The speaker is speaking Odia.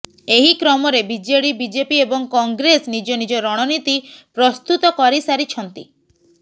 ଏହି କ୍ରମରେ ବିଜେଡି ବିଜେପି ଏବଂ କଂଗ୍ରେସ ନିଜ ନିଜ ରଣନୀତି ପ୍ରସ୍ତୁତ କରିସାରିଛନ୍ତି